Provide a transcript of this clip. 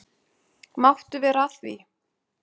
Máttu vera að því?